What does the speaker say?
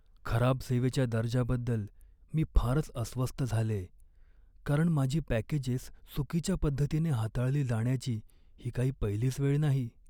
खराब सेवेच्या दर्जाबद्दल मी फारच अस्वस्थ झालेय, कारण माझी पॅकेजेस चुकीच्या पद्धतीने हाताळली जाण्याची ही काही पहिलीच वेळ नाही.